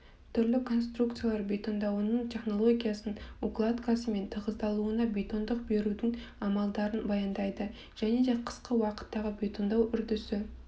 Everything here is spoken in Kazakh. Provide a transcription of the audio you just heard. түрлі конструкциялар бетондауының технологиясын укладкасы мен тығыздалуына бетондық берудің амалдарын баяндайды және де қысқы уақыттағы бетондау үрдісі